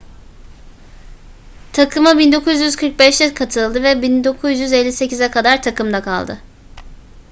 takıma 1945'te katıldı ve 1958'e kadar takımda kaldı